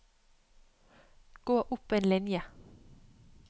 Gå opp en linje